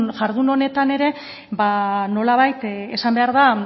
jardun honetan ere nolabait esan behar da